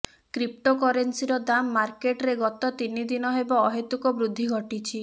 କ୍ରିପ୍ଟୋକରେନ୍ସିର ଦାମ ମାର୍କେଟ୍ରେ ଗତ ତିନି ଦିନ ହେବ ଅହେତୁକ ବୃଦ୍ଧି ଘଟିଛି